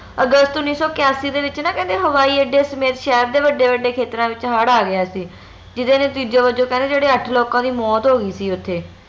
ਅਗਸਤ ਉਣੀ ਸੋ ਕਯਾਸੀ ਦੇ ਵਿਚ ਨਾ ਕਹਿੰਦੇ ਹਵਾਈ ਅੱਡੇ ਸਮੇਤ ਸ਼ਹਿਰ ਦੇ ਵੱਡੇ ਵੱਡੇ ਖੇਤਰਾਂ ਵਿਚ ਹੜ ਆ ਗਿਆ ਸੀ ਜਿਹਦੇ ਨਤੀਜੇ ਵਜੋਂ ਕਹਿੰਦੇ ਜਿਹੜੇ ਅੱਠ ਲੋਕਾਂ ਦੀ ਮੌਤ ਹੋ ਗਈ ਸੀ ਓਥੇ